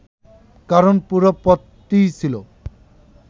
কারণ পুরো পথটিই ছিল